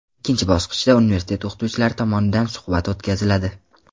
Ikkinchi bosqichda universitet o‘qituvchilari tomonidan suhbat o‘tkaziladi.